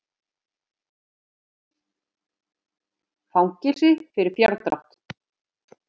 Fangelsi fyrir fjárdrátt